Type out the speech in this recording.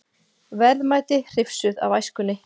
Verðmæti hrifsuð af æskunni